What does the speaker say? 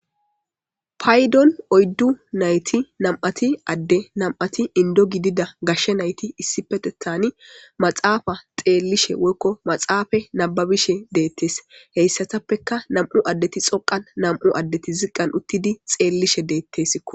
Paydon oyddu nayti nam'ati adde nam7ati indo gidida gashshe nayti issi petethani maxaafa xeellishe woykko maxaafa nababishe deettes heyssatappeka nam'u addeti xoqan nam'u addeti ziqqan uttidi xeellishe deetteso